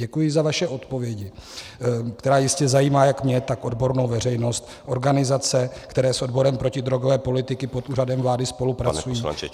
Děkuji za vaše odpovědi, které jistě zajímají jak mě, tak odbornou veřejnost, organizace, které s odborem protidrogové politiky pod Úřadem vlády spolupracují.